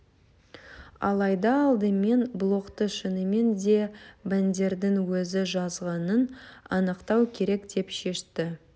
алайда алдымен блогты шынымен де бандердің өзі жазғанын анықтау керек деп шешті